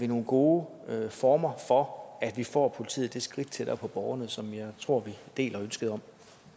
nogle gode former for at vi får politiet det skridt tættere på borgerne som jeg tror vi deler ønsket om